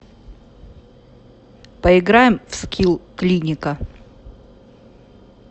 поиграем в скилл клиника